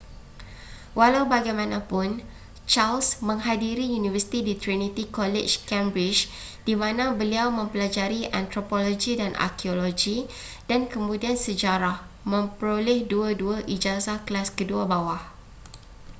walau bagaimanapun charles menghadiri universiti di trinity college cambridge di mana beliau mempelajari antropologi dan arkeologi dan kemudian sejarah memperoleh 2:2 ijazah kelas kedua bawah